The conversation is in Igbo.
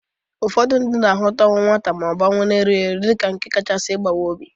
Ụfọdụ ndị na-ahụta ọnwụ nwata ma ọ bụ ọnwụ erughi eru dịka nke kachasi ịbawa obi.